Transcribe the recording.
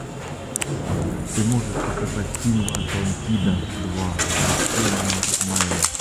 ты можешь показать фильм атлантида два возвращение майло